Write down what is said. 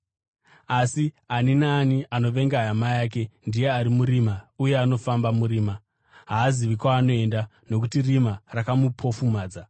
Asi ani naani anovenga hama yake ndiye ari murima uye anofamba murima; haazivi kwaanoenda, nokuti rima rakamupofumadza.